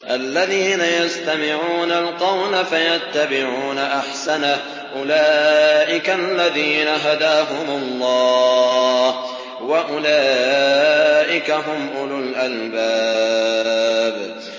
الَّذِينَ يَسْتَمِعُونَ الْقَوْلَ فَيَتَّبِعُونَ أَحْسَنَهُ ۚ أُولَٰئِكَ الَّذِينَ هَدَاهُمُ اللَّهُ ۖ وَأُولَٰئِكَ هُمْ أُولُو الْأَلْبَابِ